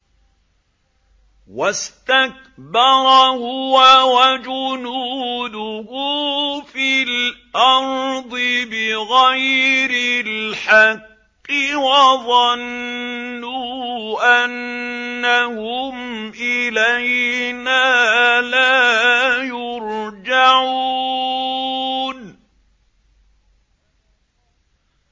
وَاسْتَكْبَرَ هُوَ وَجُنُودُهُ فِي الْأَرْضِ بِغَيْرِ الْحَقِّ وَظَنُّوا أَنَّهُمْ إِلَيْنَا لَا يُرْجَعُونَ